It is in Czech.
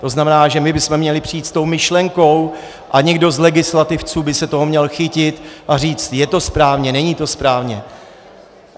To znamená, že my bychom měli přijít s tou myšlenkou a někdo z legislativců by se toho měl chytit a říct: je to správně, není to správně.